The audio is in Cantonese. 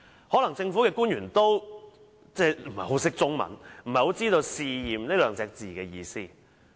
可能政府官員不太懂中文，不太知道"試驗"二字的意思。